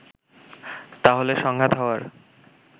তাহলে সংঘাত হওয়ার